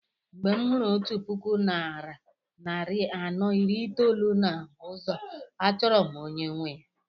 Mgbe m hụrụ otu puku naira narị anọ iri itoolu na ụzọ a chọrọ m onye nwe ya.